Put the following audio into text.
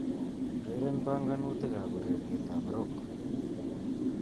Ureren bangangutikab ureretab Rock